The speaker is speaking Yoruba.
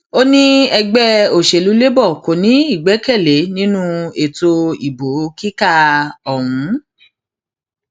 ó ní ẹgbẹ òsèlú labour kò ní ìgbẹkẹlé nínú ètò ìbò kíkà ọhún